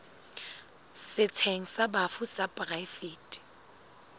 setsheng sa bafu sa poraefete